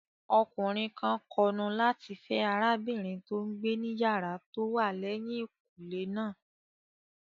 Ọkùnrin kan kọnu láti fẹ́ arábìnrin tó n gbé ní yàrá tó wà lẹ́yìn kùnlé náà